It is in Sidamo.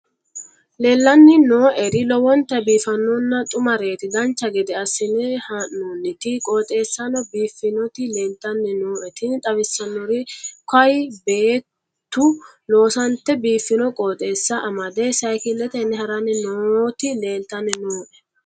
leellanni nooeri lowonta biiffinonna xumareeti dancha gede assine haa'noonniti qooxeessano biiffinoti leeltanni nooe tini xawissannori kayi beettu loosante biiffino qooxeessa amade siykiletenni haranni nooti leeltanni nooe